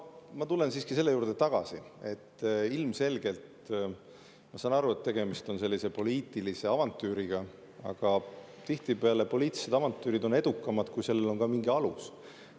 Ma tulen siiski selle juurde tagasi, et ilmselgelt, ma saan aru, on tegemist poliitilise avantüüriga, aga tihtipeale poliitilised avantüürid on edukamad, kui sellel on ka mingi alus.